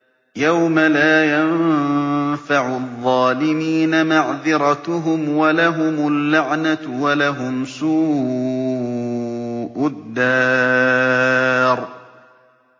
يَوْمَ لَا يَنفَعُ الظَّالِمِينَ مَعْذِرَتُهُمْ ۖ وَلَهُمُ اللَّعْنَةُ وَلَهُمْ سُوءُ الدَّارِ